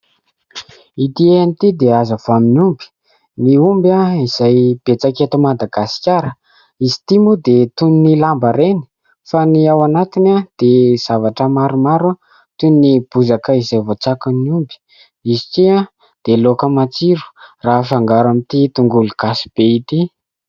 Ity an'ity dia azo avy amin'ny omby. Ny omby izay betsaka eto Madagasikara. Izy ity moa dia toy ny lamba reny fa ny ao anatiny dia zavatra maromaro toy ny bozaka izay voatsakon'ny omby. Izy ity dia laoka matsiro raha afangaro amin'ity tongolo gasy be ity.